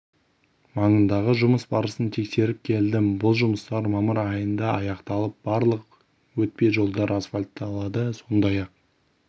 маңындағы жұмыс барысын тексеріп келдім бұл жұмыстар мамыр айында аяқталып барлық өтпе жолдар асфальтталады сондай-ақ